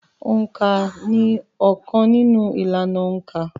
Òǹkà ni óókan nínú ìlànà òǹkà.